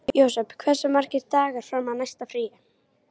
Jósep, hversu margir dagar fram að næsta fríi?